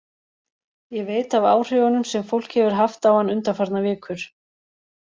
Ég veit af áhrifunum sem fólk hefur haft á hann undanfarnar vikur.